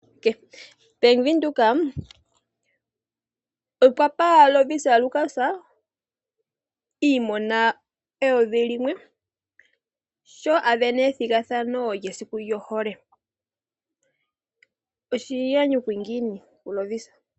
Bank Windhoek okwa pa Lovisa Lukas N$ 1000 sho a sindana ethigathano lyesiku lyohole. Oshinyanyudhi ngiini kuLovisa.